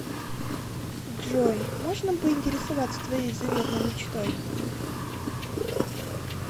джой можно поинтересоваться твоей заветной мечтой